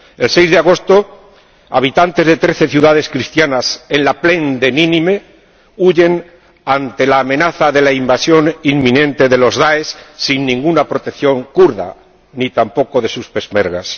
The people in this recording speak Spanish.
El 6 de agosto habitantes de trece ciudades cristianas en la llanura de Nínive huyen ante la amenaza de la invasión inminente del DAESH sin ninguna protección kurda, ni tampoco de sus peshmerga